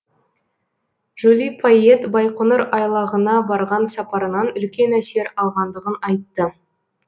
жули пайет байқоңыр айлағына барған сапарынан үлкен әсер алғандығын айтты